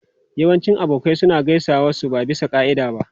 Yawancin abokai suna gaisuwa su ba bisa ka'ida ba.